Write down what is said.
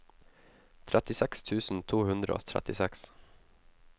trettiseks tusen to hundre og trettiseks